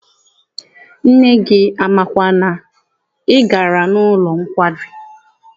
Nne gị amakwa na ị gara n'ụlọ nkwari?